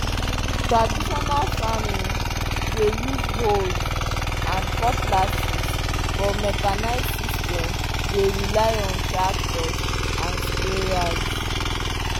traditional farming dey use hoes and cutlasses but mechanised system dey rely on tractors and sprayers.